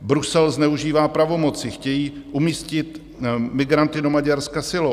Brusel zneužívá pravomoci, chtějí umístit migranty do Maďarska silou.